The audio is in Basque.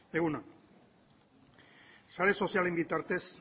egun on sare sozialen bitartez